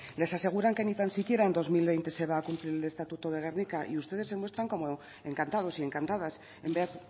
les aseguran que ni tan siquiera en dos mil veinte se va a cumplir el estatuto de gernika y ustedes se muestran como encantados y encantadas en vez